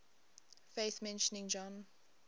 faith mentioning john